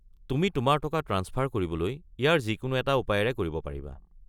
তুমি তোমাৰ টকা ট্ৰাঞ্চফাৰ কৰিবলৈ ইয়াৰে যিকোনো এটা উপায়েৰে কৰিব পাৰিবা।